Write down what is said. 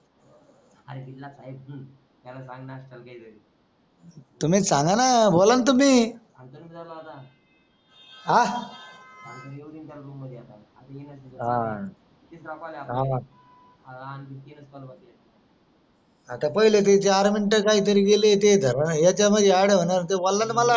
आता पाहिलं ते चार मिनिट काही तरी बोलाय ते याच्यामुळे नान होणार ते बोललय न मला